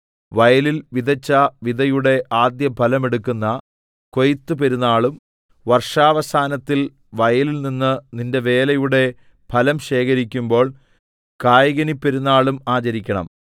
വയലിൽ വിതച്ച വിതയുടെ ആദ്യഫലമെടുക്കുന്ന കൊയ്ത്തുപെരുനാളും വർഷാവസാനത്തിൽ വയലിൽനിന്ന് നിന്റെ വേലയുടെ ഫലം ശേഖരിക്കുമ്പോൾ കായ്കനിപ്പെരുനാളും ആചരിക്കണം